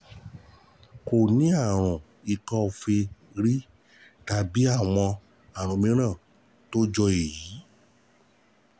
Kò ní àrùn ikọ́ọfe rí tàbí àwọn àìsàn mìíràn tó jọ èyí